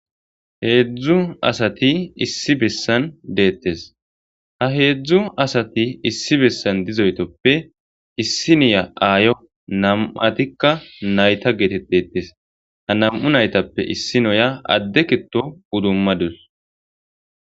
Heedzdzu asati issi bessan deettes ha heedzdzu asati issi bessan dizoytoppe issi noya aayo nam7atikka nayta geetet deettes ha nam7u naytappe issi noya adde kito udummadus.